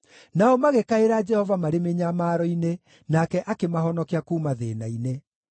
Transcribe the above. Nao magĩkaĩra Jehova marĩ mĩnyamaro-inĩ, nake akĩmahonokia kuuma thĩĩna-inĩ.